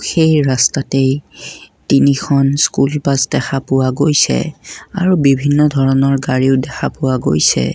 সেই ৰস্ততেই তিনিখন স্কুল বাছ দেখা পোৱা গৈছে আৰু বিভিন্ন ধৰণৰ গাড়ীও দেখা পোৱা গৈছে।